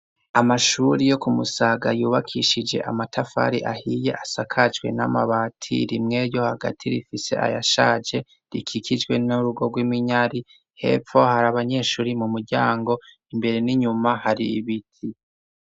Amashuri yo kumusaga yubakishije amatafari ahiye asakajwe n'amabati rimwe ryo hagati rifise ayashaje rikikijwe n'urugo gw'iminyari hepfo hari abanyeshuri mu muryango imbere n'inyuma hari ibiti.